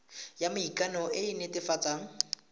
ya maikano e e netefatsang